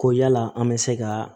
Ko yala an bɛ se ka